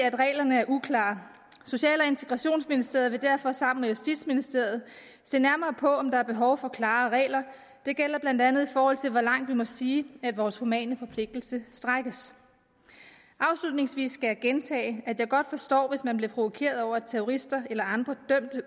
at reglerne er uklare social og integrationsministeriet vil derfor sammen med justitsministeriet se nærmere på om der er behov for klarere regler det gælder blandt andet i forhold til hvor langt vi må sige at vores humane forpligtelse strækkes afslutningsvis skal jeg gentage at jeg godt forstår hvis man bliver provokeret over at terrorister eller andre